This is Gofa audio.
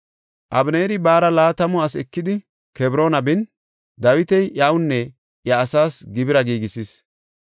Abeneeri baara laatamu asi ekidi, Kebroona bin, Dawiti iyawunne iya asaas gibira giigisis.